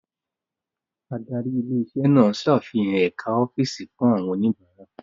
Adarí ilé iṣẹ́ náà ṣàfihàn ẹ̀ka ọ́fíìsì fún àwọn oníbàárà.